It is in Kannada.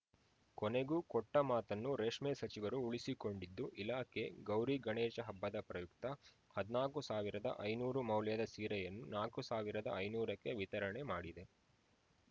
ಕೊನೆಗೂ ಕೊಟ್ಟಮಾತನ್ನು ರೇಷ್ಮೆ ಸಚಿವರು ಉಳಿಸಿಕೊಂಡಿದ್ದು ಇಲಾಖೆ ಗೌರಿ ಗಣೇಶ ಹಬ್ಬದ ಪ್ರಯುಕ್ತ ಹದಿನಾಕು ಸಾವಿರದ ಐನೂರು ಮೌಲ್ಯದ ಸೀರೆಯನ್ನು ನಾಕು ಸಾವಿರದ ಐನೂರಕ್ಕೆ ವಿತರಣೆ ಮಾಡಿದೆ